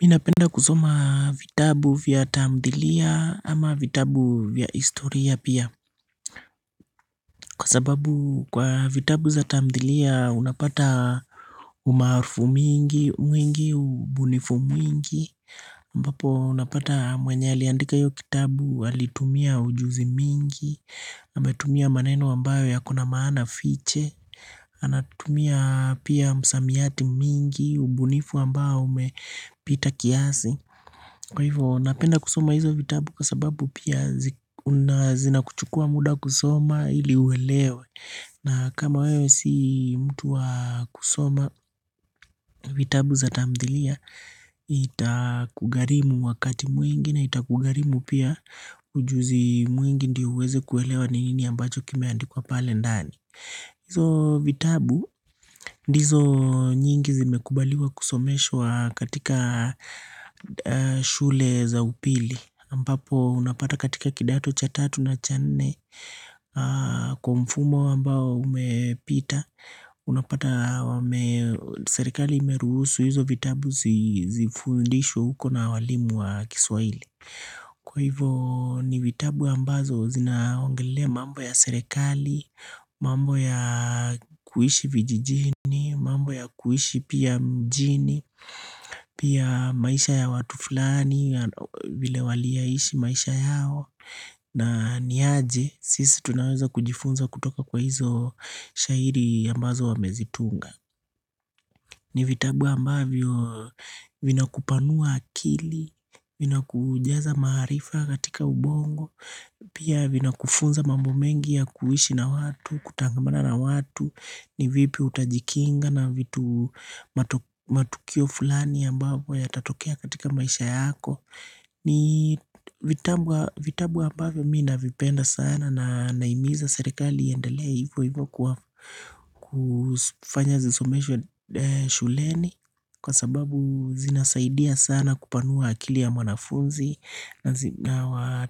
Ninapenda kusoma vitabu vya tamdhilia ama vitabu vya historia pia. Kwa sababu kwa vitabu za tamdhilia unapata umaarufu mingi, mwingi, ubunifu mwingi. Ambapo unapata mwenye aliandika hiyo kitabu, alitumia ujuzi mwingi, ametumia maneno ambayo yako na maana fiche, anatumia pia msamiati mingi, ubunifu ambao umepita kiasi. Kwa hivyo napenda kusoma hizo vitabu kwa sababu pia zina kuchukua muda kusoma ili uelewe na kama wewe si mtu wa kusoma vitabu za tamthilia itakugharimu wakati mwingi na itakugharimu pia ujuzi mwingi ndio uweze kuelewa ni nini ambacho kimeandikwa pale ndani Izo vitabu ndizo nyingi zimekubaliwa kusomeshwa katika shule za upili. Ambapo unapata katika kidato cha tatu na cha nne kwa mfumo ambao umepita. Unapata serikali imeruhusu hizo vitabu zifundishwe huko na walimu wa kiswahili. Kwa hivyo ni vitabu ambazo zinaongelea mambo ya serikali, mambo ya kuishi vijijini, mambo ya kuishi pia mjini, pia maisha ya watu fulani, vile waliyaishi maisha yao na ni aje, sisi tunaweza kujifunza kutoka kwa hizo shairi ambazo wamezitunga. Ni vitabu ambavyo vinakupanua akili, vinakujaza maarifa katika ubongo, pia vinakufunza mambo mengi ya kuishi na watu, kutangamana na watu, ni vipi utajikinga na vitu matukio fulani ambapo yatatokea katika maisha yako. Ni vitabu ambavyo mimi navipenda sana na nahimiza serikali iendelea hivyo hivyo kufanya zisomeshwe shuleni Kwa sababu zina saidia sana kupanua akili ya mwanafunzi na zina